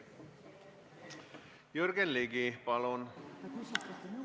Jürgen Ligi, palun!